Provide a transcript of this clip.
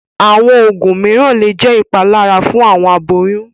Àwọn oogun míràn le jẹ̀ ipàlàrà fun awọn àbòyún